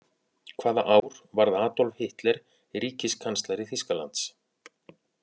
Hvaða ár varð Adolf Hitler ríkiskanslari Þýskalands?